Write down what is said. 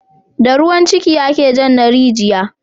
Da ruwan ciki ake jan na rijiya